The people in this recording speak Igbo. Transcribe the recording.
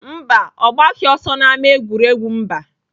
Mba, ọ gbaghị ọsọ n'ámá egwuregwu mba.